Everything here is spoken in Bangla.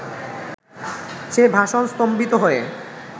সে ভাষণ স্তম্ভিত হয়ে